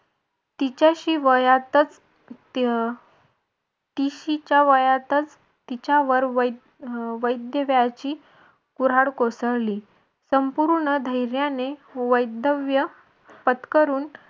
तिच्याशी वयातच तिशीच्या वयातच तिच्यावर अं वैधव्याची कुऱ्हाड कोसळली. संपूर्ण धैर्याने वैधव्य पत्करून